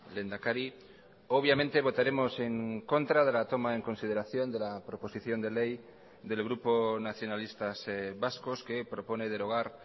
lehendakari obviamente votaremos en contra de la toma en consideración de la proposición de ley del grupo nacionalistas vascos que propone derogar